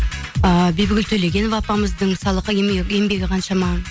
ыыы бибігүл төлегенова апамыздың мысалы еңбегі қаншама